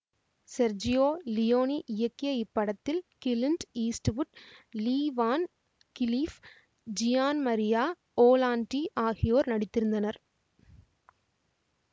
Sergio Leone இயக்கிய இப்படத்தில் Clint Eastwood Lee Van Cleef Gian Maria Volonte ஆகியோர் நடித்திருந்தனர்